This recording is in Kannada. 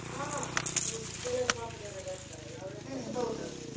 ಹಾ ಹೌದು ಕೆಲವ್ರು ಪಾಪದವರರೆಲ್ಲ ಇರ್ತಾರಲ್ವ ಅವ್ರು ಎಂತಸ ಮಾತಾಡುದಿಲ್ಲ.